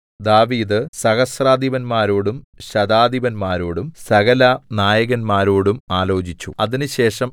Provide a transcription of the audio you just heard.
ദാവീദ് സഹസ്രാധിപന്മാരോടും ശതാധിപന്മാരോടും സകലനായകന്മാരോടും ആലോചിച്ചു അതിനുശേഷം